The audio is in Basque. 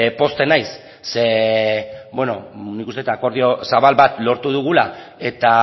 pozten naiz ze nik uste dut akordio zabal bat lortu dugula eta